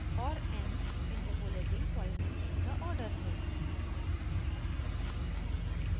और n interpolating polynomial का order है